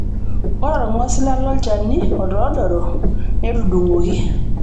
Ore olng'osila lolchani otoodoro netudungoki.